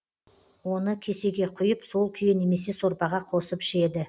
оны кесеге құйып сол күйі немесе сорпаға қосып ішеді